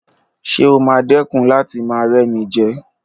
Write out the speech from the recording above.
Ṣé o máa dẹ̀kun láti máa rẹ́mijẹ?